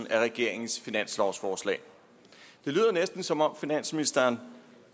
af regeringens finanslovsforslag det lyder næsten som om finansministeren